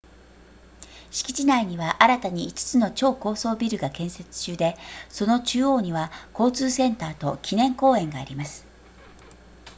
敷地内には新たに5つの超高層ビルが建設中でその中央には交通センターと記念公園があります